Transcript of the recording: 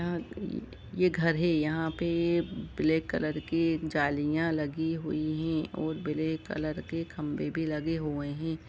या यह घर है यहां पे ब्लैक कलर की जालियां लगी हुई है और ब्लैक कलर के खंभे भी लगे हुए हैं।